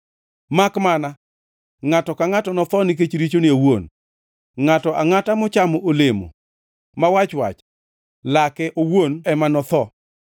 Makmana, ngʼato ka ngʼato notho nikech richone owuon; ngʼato angʼata mochano olemo ma wach-wach, lake owuon ema notho.”